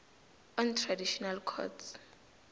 on traditional courts